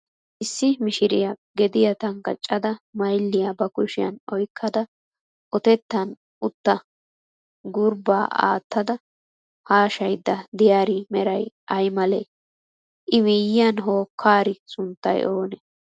Issi mishiriya gediya tanggaccada mayilliya ba kushiyan oyikkada otettan uuttaa gurbbaa aattada haashayidda diyaari meray ayi malee? I miyyiyan hokkkaari sunttay oonee?